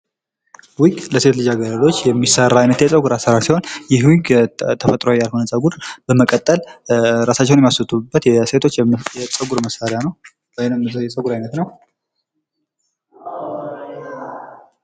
ዊቅ ለሴት የሚሰራ የጸጉር አሰራር ሲሆን ይህ ዊግ ተፈጥሯዊ ያልሆነ ጸጉር በመቀጠል እራሳቸውን የሚይስዉቡበት የጸጉር መሳሪያ ነው።